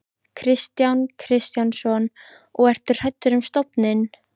Kristján Kristjánsson: Og ertu hræddur um stofninn?